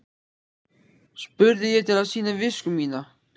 spurði ég til að sýna visku mína.